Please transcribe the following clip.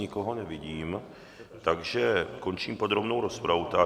Nikoho nevidím, takže končím podrobnou rozpravu.